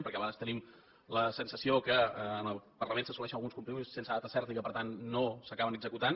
perquè a vegades tenim la sensació que en el parlament s’assoleixen alguns compromisos sense data certa i que per tant no s’acaben executant